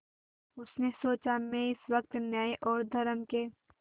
उसने सोचा मैं इस वक्त न्याय और धर्म के